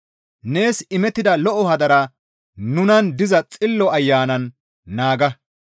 Nees imettida lo7o hadaraa nunan diza Xillo Ayanan naaga.